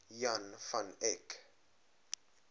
jan van eyck